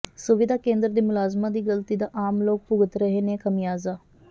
ਸੁਵਿਧਾ ਕੇਂਦਰ ਦੇ ਮੁਲਾਜ਼ਮਾਂ ਦੀ ਗਲਤੀ ਦਾ ਆਮ ਲੋਕ ਭੁਗਤ ਰਹੇ ਨੇ ਖਮਿਆਜ਼ਾ